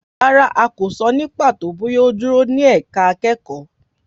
Rárá, a kò sọ ní pàtó bóyá ó dúró ní ẹ̀ka akẹ́kọ̀ọ́.